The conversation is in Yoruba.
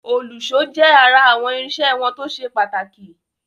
Òlùṣó jẹ́ ará àwọn irinṣẹ́ wọn tó ṣe pàtàkì.